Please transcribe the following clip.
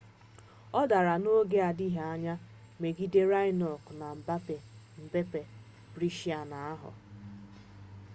ọ dara n'oge na-adịghị anya megide raonic na mmepe brisbane ahụ